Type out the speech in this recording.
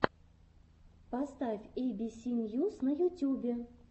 поставь эй би си ньюс на ютюбе